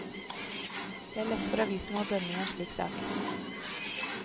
Det er lett for avisene å dømme i en slik sak.